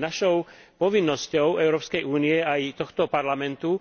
A je našou povinnosťou Európskej únie aj tohto Parlamentu